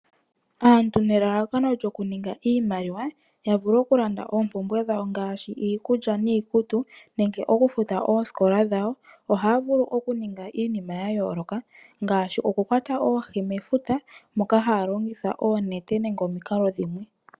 Aantu nelalakano lyokuninga iimaliwa ya vule okulanda oompumbwe dhawo ngaashi iikulya niikutu nenge okufuta oosikola dhawo, ohaya vulu okuninga iinima yayooloka ngaashi okukwata oohi mefuta moka haya longitha oonete nenge omikalo dhimwe.